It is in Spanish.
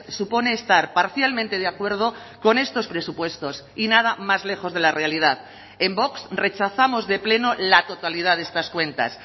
supone estar parcialmente de acuerdo con estos presupuestos y nada más lejos de la realidad en vox rechazamos de pleno la totalidad de estas cuentas